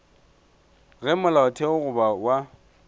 ge molaotheo goba molao wa